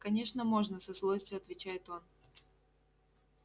конечно можно со злостью отвечает он